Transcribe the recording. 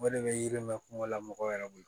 O de bɛ yiri mɛn kuma la mɔgɔw yɛrɛ bolo